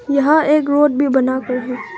यहां एक रोड भी बना हुआ है।